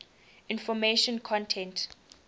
information content